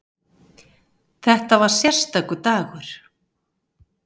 Þetta var sérstakur dagur.